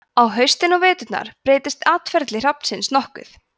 á haustin og veturna breytist atferli hrafnsins nokkuð